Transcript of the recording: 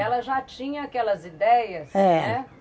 Ela já tinha aquelas ideias, eh, né?